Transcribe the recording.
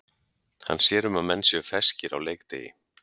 Hann sér um að menn séu ferskir á leikdegi.